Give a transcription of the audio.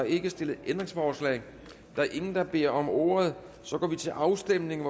ikke stillet ændringsforslag der er ingen der beder om ordet og så går vi til afstemning